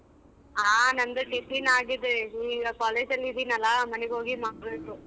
ಹಾ ನಂದು tiffin ಆಗಿದೆ ಈಗ college ಅಲ್ಲಿ ಇದಿನಲ್ಲ ಮನೆಗೋಗಿ ಮಾಡ್ಬೇಕು.